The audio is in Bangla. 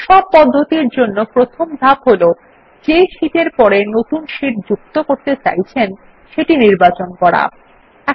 সব পদ্ধতির জন্য প্রথম ধাপ হল যে শীট এর পরে নতুন শীট যুক্ত করতে চাইছেন সেটি নির্বাচন করুন